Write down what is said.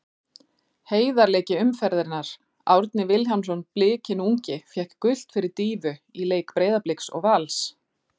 Heiðarleiki umferðarinnar: Árni Vilhjálmsson Blikinn ungi fékk gult fyrir dýfu í leik Breiðabliks og Vals.